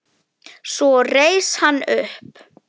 Svo reis hann upp.